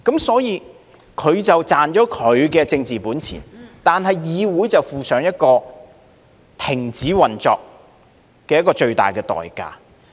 所以，他便賺了他的政治本錢，但是，議會卻負上停止運作這個最大的代價。